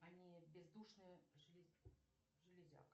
они бездушные железяка